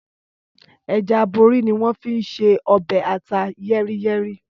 Ẹja aborí ni wọ́n fi n ṣe ọbẹ̀ ata yẹ́rí-yẹ́rí.